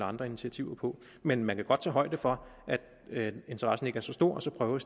andre initiativer mod men man kan godt tage højde for at interessen ikke er så stor og så prøve